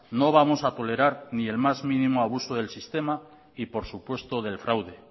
no vamos a tolerar ni el más mínimo abuso del sistema ni por supuesto del fraude